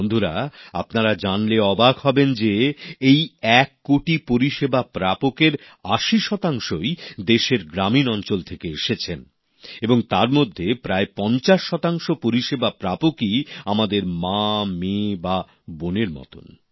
বন্ধুরা আপনারা জানলে অবাক হবেন যে এই এক কোটি পরিষেবা প্রাপকের ৮0 আশি শতাংশই দেশের গ্রামীণ অঞ্চল থেকে এসেছেন এবং তার মধ্যে প্রায় ৫0 শতাংশ পরিষেবা প্রাপকই আমাদের মা মেয়ে বা বোনের মতো